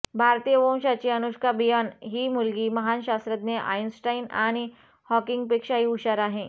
भारतीय वंशाची अनुष्का बियॉन ही मुलगी महान शास्त्रज्ञ आईन्स्टाईन आणि हॉकिंगपेक्षाही हुशार आहे